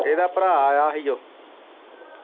ਇਗਦਾ ਭਰਾ ਆਇਆ ਹੀ ਓ।